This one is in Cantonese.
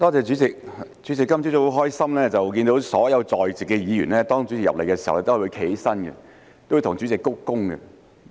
主席，我今早很高興看到主席進入會議廳時，所有在席議員也有站立向主席鞠躬。